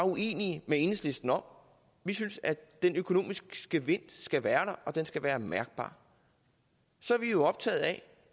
uenige med enhedslisten om vi synes at den økonomiske gevinst skal være der og den skal være mærkbar så er vi jo optaget af